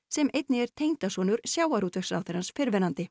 sem einnig er tengdasonur sjávarútvegsráðherrans fyrrverandi